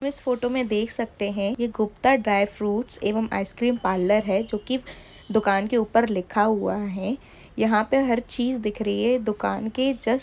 इस फोटो में देख सकते है यह गुप्ता ड्राई फ्रूट्स एवं अयसक्रीम पार्लर है जोकि दुकान के ऊपर लिखा हुआ है यहा पर हर चीज दिख रही है दुकान के जस--